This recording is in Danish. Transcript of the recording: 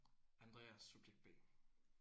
Andreas subjekt B